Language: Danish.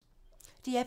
DR P3